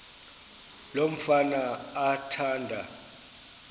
lo mfana athanda